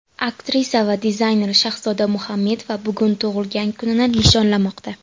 Aktrisa va dizayner Shahzoda Muhammedova bugun tug‘ilgan kunini nishonlamoqda.